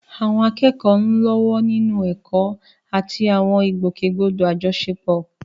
Àwọn akẹ́kọ̀ọ́ ń lọ́wọ́ nínú ẹ̀kọ́ àti àwọn ìgbòkègbodò àjọṣepọ̀.